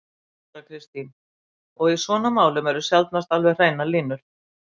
Þóra Kristín: Og í svona málum eru sjaldnast alveg hreinar línur?